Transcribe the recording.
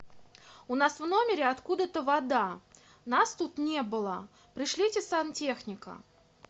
у нас в номере откуда то вода нас тут не было пришлите сантехника